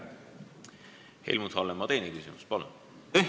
Helmut Hallemaa, teine küsimus, palun!